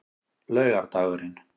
laugardagurinn